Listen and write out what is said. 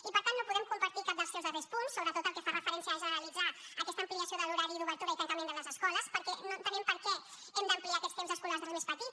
i per tant no podem compartir cap dels seus darrers punts sobretot el que fa referència a generalitzar aquesta ampliació de l’horari d’obertura i tancament de les escoles perquè no entenem per què hem d’ampliar aquests temps escolars dels més petits